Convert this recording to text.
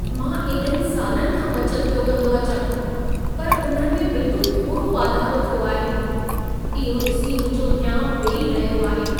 मां एॾनि सालनु खां बचत पियो कंदो अचां, पर उन्हनि में बिल्कुल थोरो वाधारो थियो आहे। इहो ॾिसी मुंहिंजो हियाउं वेई रहियो आहे।